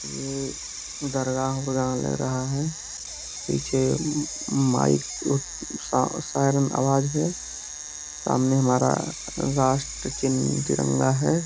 ये दरगाह औरगाह लग रहा है पीछे माइक स सायरन आवाज है सामने हमारा राष्ट्र चिन्ह तिरंगा है।